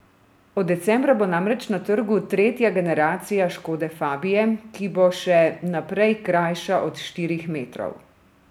Od decembra bo namreč na trgu tretja generacija škode fabie, ki bo še naprej krajša od štirih metrov.